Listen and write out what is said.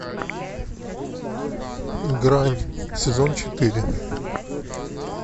грань сезон четыре